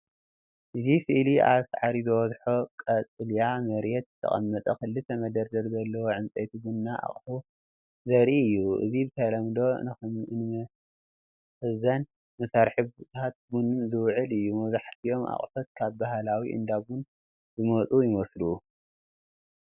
እዚ ስእሊ ኣብ ሳዕሪ ዝበዝሖ ቀጠልያ መሬት ዝተቐመጠ ክልተ መደርደሪ ዘለዎ ዕንጨይቲ ና ቡና ኣቅሑ ዘርኢ እዩ። እዚ ብተለምዶ ንመኽዘን መሳርሒታት ቡን ዝውዕል እዩ። መብዛሕትኦም ኣቑሑት ካብ ባህላዊ እንዳ ቡን ዝመጹ ይመስሉ።